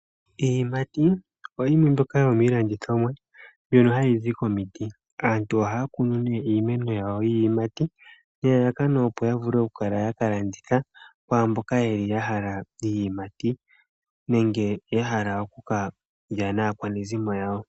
Iiyimati oyimwe mbyoka yomiilandithomwa, mbyono hayi zi komiti. Aantu ohaya kunu ne iimeno yawo yiiyimati, nelalakano opo ya vule oku kala ya ka landitha, kwamboka yeli ya hala iiyimati, nenge ya hala oku kalya naakwanezimo yawo.